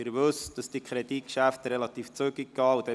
Sie wissen, dass die Kreditgeschäfte relativ zügig behandelt werden.